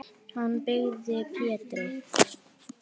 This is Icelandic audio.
Hann byggði Pétri